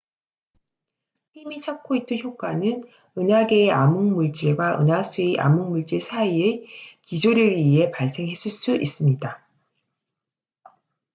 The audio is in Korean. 팀이 찾고 있던 효과는 은하계의 암흑물질과 은하수의 암흑물질 사이의 기조력에 의해 발생했을 수 있습니다